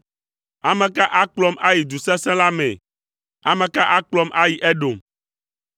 Ame ka akplɔm ayi du sesẽ la mee? Ame ka akplɔm ayi Edom?